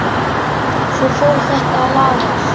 Svo fór þetta að lagast.